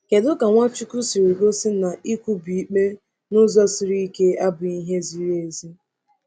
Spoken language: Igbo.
Kedu ka Nwachukwu siri gosi na ikwubi ikpe n’ụzọ siri ike abụghị ihe ziri ezi?